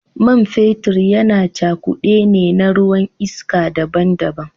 Man fetur yana cakude ne na ruwan iska daban-daban.